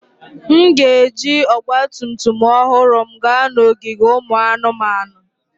M ga-eji ọgba tum tum ọhụrụ m gaa n'ogige ụmụ anụmanụ.